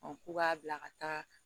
k'u b'a bila ka taa